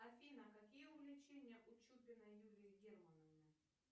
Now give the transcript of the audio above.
афина какие увлечения у чупиной юлии германовны